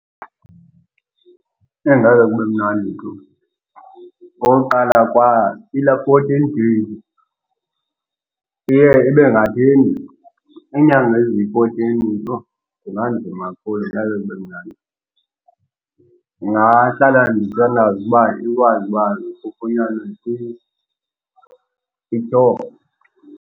Ngeke kube mnandi tu. Okokuqala kwaiyilaa fourteen days, iye ibe ngathi inde. Iinyanga eziyi-fourteen, yho, kunganzima kakhulu. Ngeke kube mnandi. Ndingahlala ndithandaza uba ikwazi uba kufunyanwe msinya i-cure.